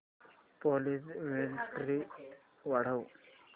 please clarity वाढव